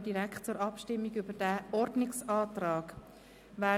Wir stimmen über den Ordnungsantrag ab.